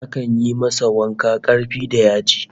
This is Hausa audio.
Akan yi masa wanka karfi da yaji